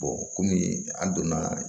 kɔmi an donna